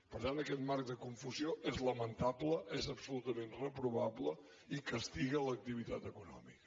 per tant aquest marc de confusió és lamentable és absolutament reprovable i castiga l’activitat econòmica